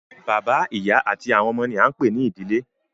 Bàbá, ìyá àti àwọn ọmọ ni a ń pè ní ìdílé